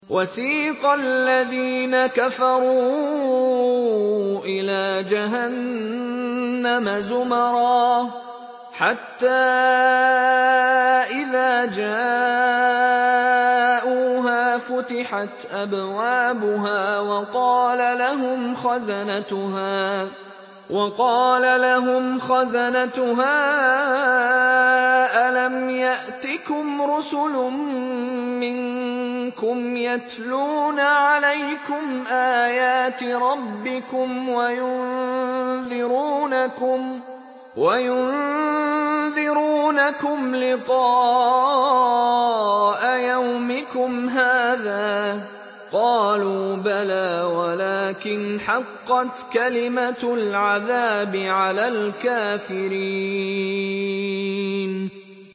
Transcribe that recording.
وَسِيقَ الَّذِينَ كَفَرُوا إِلَىٰ جَهَنَّمَ زُمَرًا ۖ حَتَّىٰ إِذَا جَاءُوهَا فُتِحَتْ أَبْوَابُهَا وَقَالَ لَهُمْ خَزَنَتُهَا أَلَمْ يَأْتِكُمْ رُسُلٌ مِّنكُمْ يَتْلُونَ عَلَيْكُمْ آيَاتِ رَبِّكُمْ وَيُنذِرُونَكُمْ لِقَاءَ يَوْمِكُمْ هَٰذَا ۚ قَالُوا بَلَىٰ وَلَٰكِنْ حَقَّتْ كَلِمَةُ الْعَذَابِ عَلَى الْكَافِرِينَ